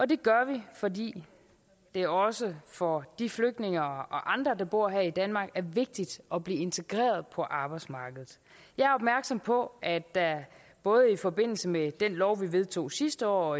det gør vi fordi det også for de flygtninge og andre der bor her i danmark er vigtigt at blive integreret på arbejdsmarkedet jeg er opmærksom på at der både i forbindelse med den lov vi vedtog sidste år